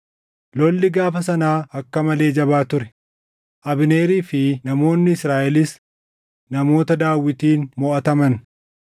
Lolli gaafa sanaa akka malee jabaa ture; Abneerii fi namoonni Israaʼelis namoota Daawitiin moʼataman.